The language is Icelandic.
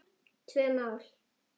Tvö mál.